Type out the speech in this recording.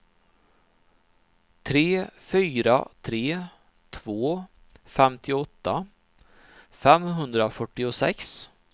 tre fyra tre två femtioåtta femhundrafyrtiosex